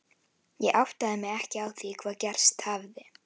Ég áttaði mig ekki á því hvað gerst hafði.